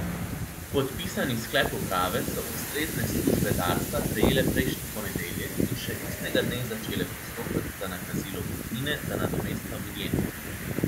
Podpisani sklep uprave so ustrezne službe Darsa prejele prejšnji ponedeljek in še istega dne začele postopek za nakazilo kupnine za nadomestno vinjeto.